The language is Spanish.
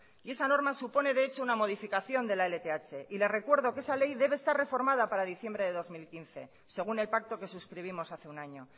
y esa norma supone de hecho una modificación de la lth y le recuerdo que esa ley debe estar reformada para diciembre de dos mil quince según el pacto que suscribimos hace un año